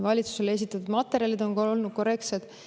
Valitsusele esitatud materjalid on olnud korrektsed.